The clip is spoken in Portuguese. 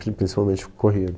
Principalmente corrida.